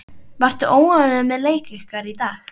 Varstu ánægður með leik ykkar í dag?